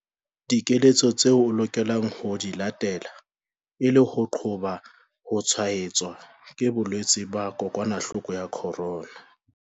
Dikeletso tseo o lokelang ho di latela e le ho qoba ho tshwaetswa ke bolwetse ba kokwanahloko ya corona